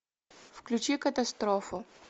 включи катастрофу